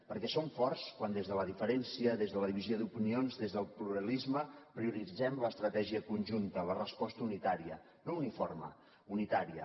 perquè som forts quan des de la diferència des de la divisió d’opinions des del pluralisme prioritzem l’estratègia conjunta la resposta unitària no uniforme unitària